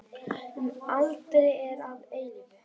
Um aldir og að eilífu.